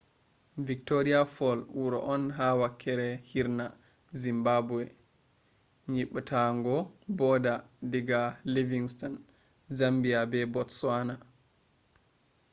victoria fall wuro on ha wakkere hirna zimbabwe yeɓɓutuggo border diga livingstone zambia be botsawana